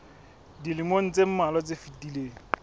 dilemong tse mmalwa tse fetileng